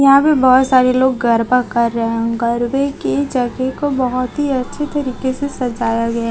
यहां पे बहोत सारे लोग गरबा कर रहे हैं गरबे की जगह को बहोत ही अच्छी तरीके से सजाया गया--